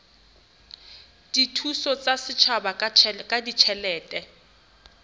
dithuso tsa setjhaba ka ditjhelete